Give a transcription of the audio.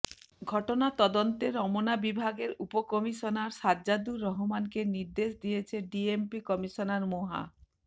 ঘটনা তদন্তে রমনা বিভাগের উপকমিশনার সাজ্জাদুর রহমানকে নির্দেশ দিয়েছে ডিএমপি কমিশনার মোহা